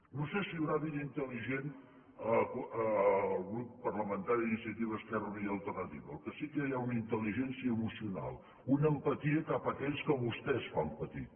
no sé si hi deu haver vida intel·ligent al grup parlamentari d’iniciativa esquerra unida i alternativa el que sí que hi ha és una intel·ligència emocional una empatia cap aquells que vostès fan patir